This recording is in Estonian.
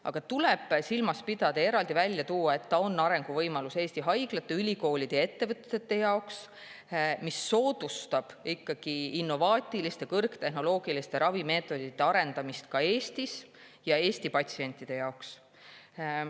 Aga tuleb silmas pidada ja eraldi välja tuua, et ta on arenguvõimalus Eesti haiglate, ülikoolide ja ettevõtete jaoks, ta soodustab ikkagi innovaatiliste kõrgtehnoloogiliste ravimeetodite arendamist ka Eestis ja Eesti patsientide jaoks.